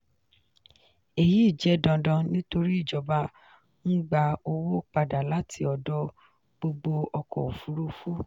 èyí jẹ́ dandan nítorí ìjọba ń gba owó padà láti ọ̀dọ̀ gbogbo ọkọ̀ òfúrufú.